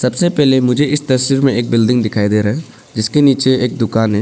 सबसे पहले मुझे इस तस्वीर में एक बिल्डिंग दिखाई दे रहा है जिसके नीचे एक दुकान है।